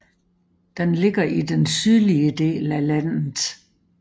Den ligger i den sydlige del af landet